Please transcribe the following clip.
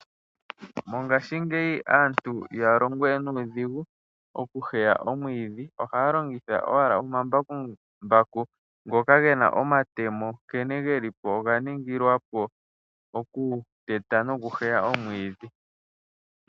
Mongashingeyi aantu ihaya longo we nuudhigu, okuheya omwiidhi. Ohaya longitha owala omambakumbaku ngoka ge na omatemo nkene ge li po oga ningilwa po okuteta nokuheya omwiidhi.